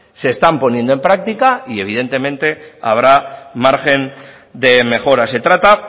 se están poniendo en práctica y evidentemente habrá margen de mejora se trata